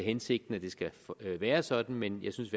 hensigten at det skal være sådan men jeg synes